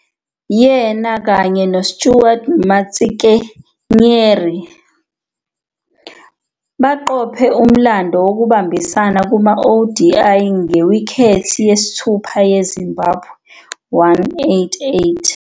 Yena kanye no- Stuart Matsikenyeri baqophe umlando wokubambisana kuma-ODI ngewikhethi yesithupha ye-Zimbabwe, 188.